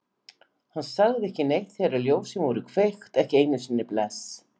Hann sagði ekki neitt þegar ljósin voru kveikt, ekki einu sinni bless.